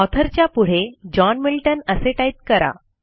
author च्या पुढे John Milton असे टाईप करा